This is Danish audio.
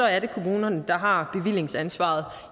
er det kommunerne der har bevillingsansvaret